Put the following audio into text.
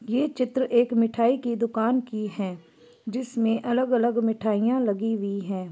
ये चित्र एक मिठाई की दुकान की है जिसमें अलग अलग मिठाईयां लगी हुई है।